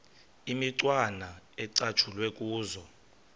imicwana ecatshulwe kuzo